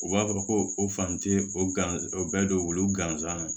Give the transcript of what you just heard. U b'a fɔ ko o fan tɛ o gansan o bɛɛ don wo gansan na